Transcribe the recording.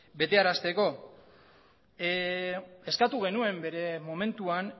betearazteko eskatu genuen bere momentuan